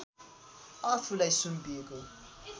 आफूलाई सुम्पिएको